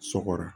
Sɔgɔra